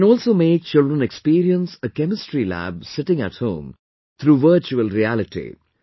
We can also make children experience a chemistry lab sitting at home through virtual reality